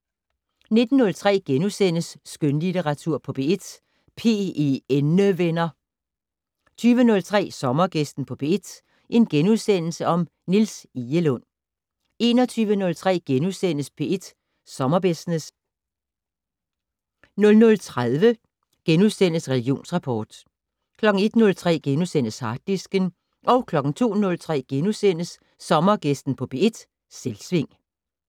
19:03: Skønlitteratur på P1: PENnevenner * 20:03: Sommergæsten på P1: Niels Egelund * 21:03: P1 Sommerbusiness * 00:30: Religionsrapport * 01:03: Harddisken * 02:03: Sommergæsten på P1: Selvsving *